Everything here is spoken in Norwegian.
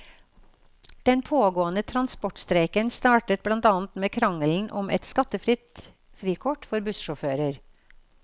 Den pågående transportstreiken startet blant annet med krangelen om et skattefritt frikort for bussjåfører.